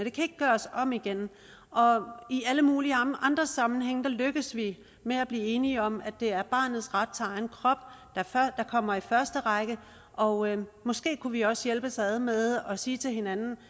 ikke gøres om igen i alle mulige andre sammenhænge lykkes vi med at blive enige om at det er barnets ret til egen krop der kommer i første række og måske kunne vi jo også hjælpes ad med at sige til hinanden